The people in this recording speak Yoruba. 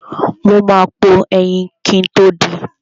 Mo ma po ẹyin kin tó din.